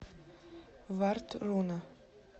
вардруна